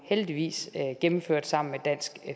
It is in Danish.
heldigvis gennemført sammen med dansk